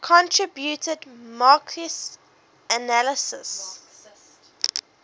contributed marxist analyses